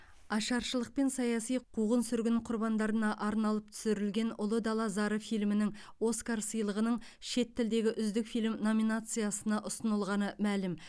ашаршылық пен саяси қуғын сүргін құрбандарына арналып түсірілген ұлы дала зары фильмінің оскар сыйлығының шет тілдегі үздік фильм номинациясына ұсынылғаны мәлім